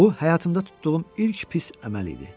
Bu həyatımda tutduğum ilk pis əməl idi.